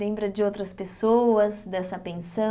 Lembra de outras pessoas, dessa